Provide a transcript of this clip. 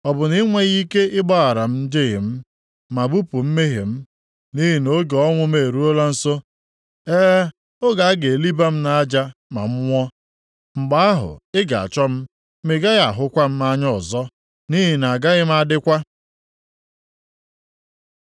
Ọ bụ na i nweghị ike ịgbaghara m njehie m, ma bupụ mmehie m? Nʼihi na oge ọnwụ m eruola nso, e, oge a ga-eliba m nʼaja, ma m nwụọ. Mgbe ahụ ị ga-achọ m, ma ị gaghị ahụkwa m anya ọzọ, nʼihi na agaghị m adịkwa.”